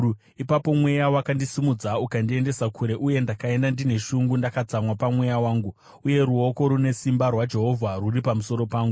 Ipapo Mweya wakandisimudza ukandiendesa kure uye ndakaenda ndine shungu ndakatsamwa pamweya wangu, uye ruoko rune simba rwaJehovha rwuri pamusoro pangu.